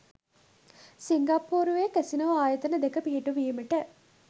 සිංගප්පූරුවේ casino ආයතන දෙක පිහිටුවීමට